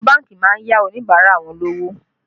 Àwọn bánkì má ń yá Oníbàárà wọn lówó